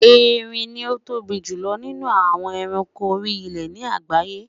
Erin ni o tóbi julọ ninu awọn ẹranko ori ile ni agbaye